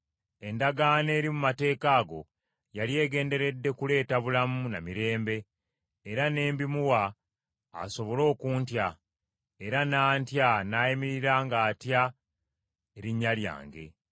“Endagaano eri mu mateeka ago yali egenderedde kuleeta bulamu na mirembe era n’embimuwa asobole okuntya, era n’antya n’ayimirira ng’atya erinnya lyange.